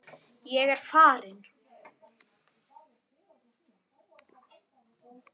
Bannið er algert.